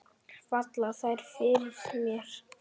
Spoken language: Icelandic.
Falla þær fyrir mér?